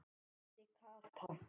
vældi Kata.